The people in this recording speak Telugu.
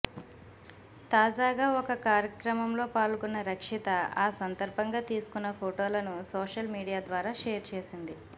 తాజాగా ఒక కార్యక్రమంలో పాల్గొన్న రక్షిత ఆ సందర్బంగా తీసుకున్న ఫొటోలను సోషల్ మీడియా ద్వారా షేర్ చేసింది